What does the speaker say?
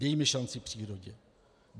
Dejme šanci přírodě.